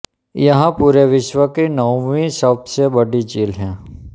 यह पूरे विश्व की नौवीं सबसे बड़ी झील है